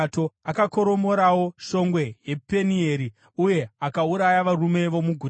Akakoromorawo shongwe yePenieri uye akauraya varume vomuguta.